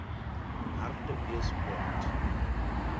hartbeespoort